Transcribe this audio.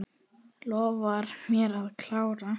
Lof mér að klára.